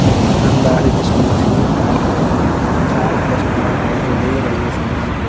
एक दुकानदार है जिसको मछली को काट रही है तीन चार कस्टमर हैं जो ले रही है सामान को।